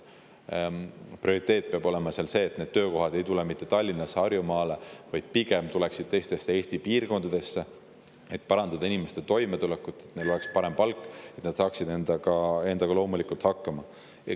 Prioriteet peab olema see, et need töökohad ei tuleks mitte Tallinnasse ja Harjumaale, vaid pigem tuleksid teistesse Eesti piirkondadesse, et parandada inimeste toimetulekut, et neil oleks parem palk, et nad saaksid endaga hakkama.